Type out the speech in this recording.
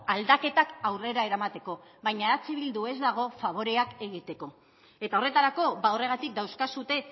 aldaketak aurrera eramateko baina eh bildu ez dago faboreak egiteko eta horretarako horregatik dauzkazue